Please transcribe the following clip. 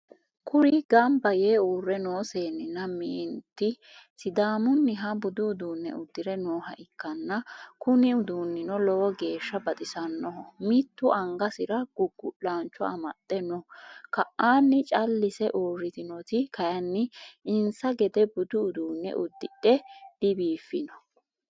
Kuri gamba yee urre noo seenninna meenti Sidamunniha budu uduunne uddire nooha ikkanna kuni uduunnino lowo geeshsa baxissannoho. mitu angasera gugu'lancho amaxe no.ka'nni callise urritinnoti kayini insa gede budu uduunne udidhe dibiiffinno.